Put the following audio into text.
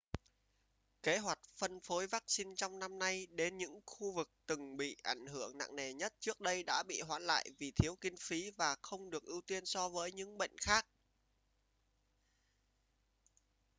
kế hoạch phân phối vắc-xin trong năm nay đến những khu vực từng bị ảnh hưởng nặng nề nhất trước đây đã bị hoãn lại vì thiếu kinh phí và không được ưu tiên so với những bệnh khác